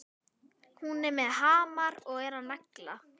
Hún er með hamar og er að negla.